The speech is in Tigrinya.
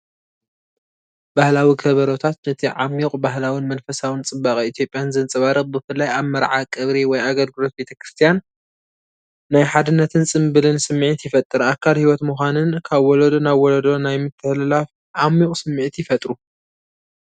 ባህላዊ ከበሮታት ነቲ ዓሚቝ ባህላውን መንፈሳውን ጽባቐ ኢትዮጵያን ዘንጸባርቕ፣ ብፍላይ ኣብ መርዓ ቀብሪ ወይ ኣገልግሎት ቤተ ክርስቲያን ናይ ሓድነትን ጽምብልን ስምዒት ይፈጥር። ኣካል ህይወት ምዃንን ካብ ወለዶ ናብ ወለዶ ናይ ምትሕልላፍ ዓሚቝ ስምዒት ይፈጥሩ።